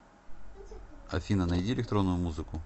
афина найди электронную музыку